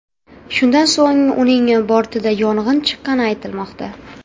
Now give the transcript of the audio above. Shundan so‘ng uning bortida yong‘in chiqqani aytilmoqda.